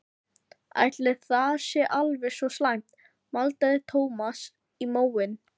Ætli það sé alveg svo slæmt maldaði Thomas í móinn.